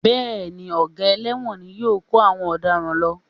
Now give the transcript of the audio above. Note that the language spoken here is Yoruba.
Bẹ́ẹ̀ ni, ọ̀gá ẹlẹ́wọ̀n ni yóò kó àwọn ọ̀daràn lọ